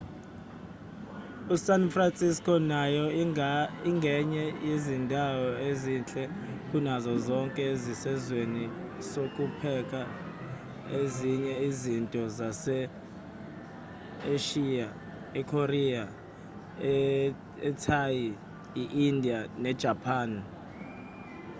esan francisco nayo ingenye yezindawo ezinhle kunazo zonke esizweni sokupheka ezinye izinto zase-eshiya ikorea ithai indiya nejapan